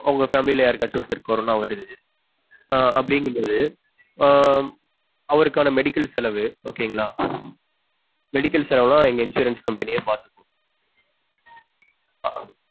உங்க family ல யாருக்காச்சும் ஒருத்தருக்கு கொரோனா வருது ஆஹ் அப்டிங்கபோது ஆஹ் அவருக்கான medical செலவு okay ங்களா medical செலவு எல்லாம் எங்க insurance company யே பாத்துக்கும்